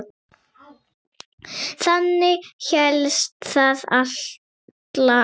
Þannig hélst það alla tíð.